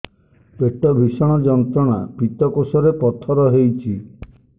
ପେଟ ଭୀଷଣ ଯନ୍ତ୍ରଣା ପିତକୋଷ ରେ ପଥର ହେଇଚି